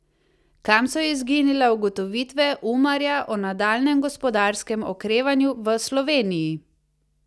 Kam so izginile ugotovitve Umarja o nadaljnjem gospodarskem okrevanju v Sloveniji?